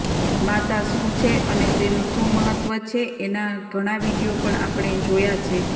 માતા શું છે અને તેનું મહત્વ શું છે એના ઘણા વીડિયો પણ આપણે જોયા છે